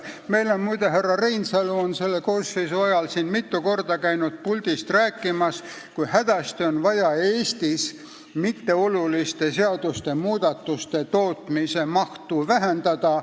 Meil on, muide, härra Reinsalu selle koosseisu ajal mitu korda käinud siin puldis rääkimas, kui hädasti on vaja Eestis mitteoluliste seadusmuudatuste tootmise mahtu vähendada.